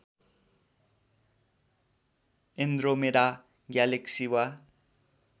Andromeda galaxy वा